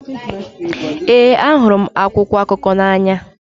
Ee, ahụrụ m akwụkwọ akụkọ n'anya.